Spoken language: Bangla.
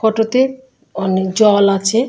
ফটো তে অনেক জল আছে।